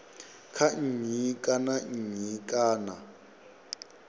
kha nnyi kana nnyi kana